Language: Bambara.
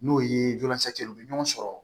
N'o ye u bɛ ɲɔgɔn sɔrɔ